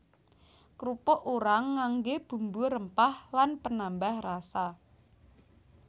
Krupuk urang nganggé bumbu rempah lan penambah rasa